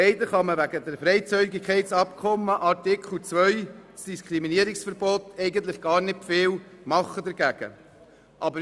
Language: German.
Leider kann man wegen des Freizügigkeitsabkommens Artikel 2, Diskriminierungsverbot, eigentlich gar nicht viel dagegen tun.